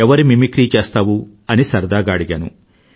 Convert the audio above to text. ఎవరి మిమిక్రీ చేస్తావు అని సరదాగా అడిగాను